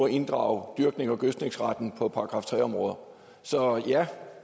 at inddrage dyrknings og gødskningsretten på § tre områder så ja